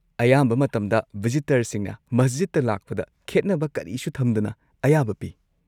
ꯑꯌꯥꯝꯕ ꯃꯇꯝꯗ ꯚꯤꯖꯤꯇꯔꯁꯤꯡꯅ ꯃꯁꯖꯤꯗꯇ ꯂꯥꯛꯄꯗ ꯈꯦꯠꯅꯕ ꯀꯔꯤꯁꯨ ꯊꯝꯗꯅ ꯑꯌꯥꯕ ꯄꯤ꯫